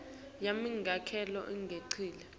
yami ngaloko injengobe